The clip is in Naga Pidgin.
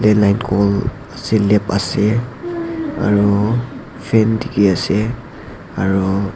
Landline calll selap ase aru fan dekhi ase aru.